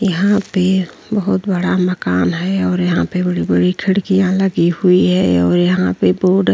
यहां पे बहोत बड़ा मकान है और यहां पे बड़ी-बड़ी खिड़कियां लगी हुई है और यहां पे बोर्ड --